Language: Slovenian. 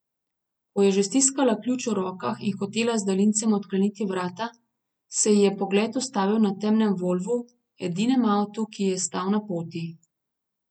Ko je že stiskala ključ v rokah in hotela z daljincem odkleniti vrata, se ji je pogled ustavil na temnem volvu, edinem avtu, ki ji je stal na poti.